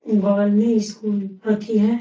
बगल में स्कूल येथी है |